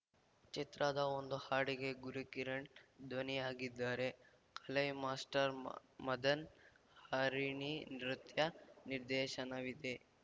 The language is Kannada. ಚಿತ್ರದ ಒಂದು ಹಾಡಿಗೆ ಗುರುಕಿರಣ್‌ ಧ್ವನಿಯಾಗಿದ್ದಾರೆ ಕಲೈ ಮಾಸ್ಟರ್‌ ಮದನ್‌ ಹರಿಣಿ ನೃತ್ಯ ನಿರ್ದೇಶನವಿದೆ